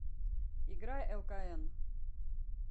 играй элкаэн